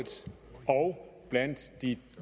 og blandt de